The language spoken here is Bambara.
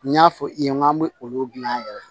N y'a fɔ i ye n k'an bɛ olu dilan